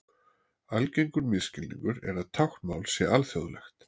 Algengur misskilningur er að táknmál sé alþjóðlegt.